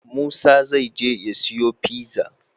Musa zai je ya siyo pizza?